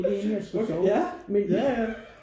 Okay ja ja ja